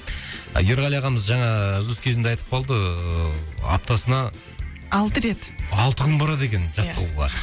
ерғали ағамыз жаңа үзіліс кезінде айтып қалды ыыы аптасына алты рет алты күн барады екен иә жаттығуға